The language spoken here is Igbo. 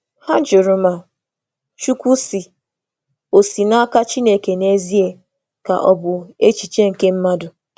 Hà jụrụ ma “Chukwu sị” bụ eziokwu si n’aka Chineke ma ọ bụ echiche nke mmadụ.